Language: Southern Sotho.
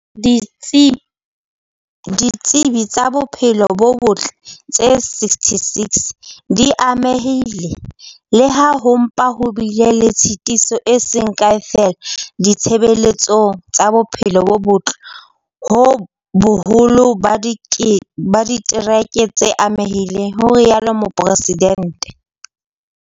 "Ditsi tsa bophelo bo botle tse 66 di amehile, le ha ho mpa ho bile le tshitiso e seng kae feela ditshebeletsong tsa bophelo bo botle ho boholo ba ditereke tse amehileng", ho rialo Mopre sidente.